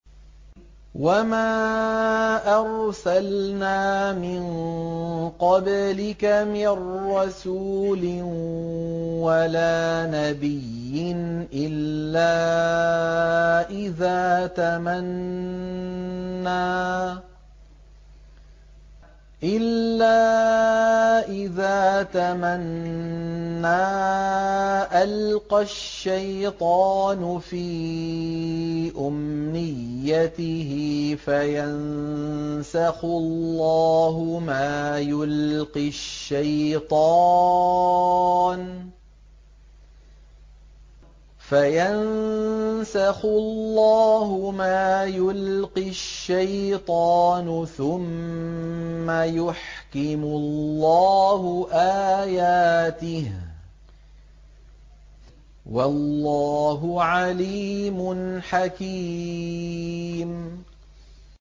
وَمَا أَرْسَلْنَا مِن قَبْلِكَ مِن رَّسُولٍ وَلَا نَبِيٍّ إِلَّا إِذَا تَمَنَّىٰ أَلْقَى الشَّيْطَانُ فِي أُمْنِيَّتِهِ فَيَنسَخُ اللَّهُ مَا يُلْقِي الشَّيْطَانُ ثُمَّ يُحْكِمُ اللَّهُ آيَاتِهِ ۗ وَاللَّهُ عَلِيمٌ حَكِيمٌ